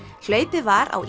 hlaupið var á